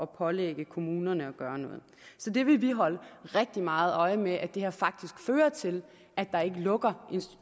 pålægge kommunerne at gøre noget så det vil vi holde rigtig meget øje med altså at det her faktisk fører til at der ikke lukker